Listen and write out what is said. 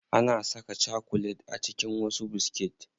Ana saka chakulet a cikin wasu biskit.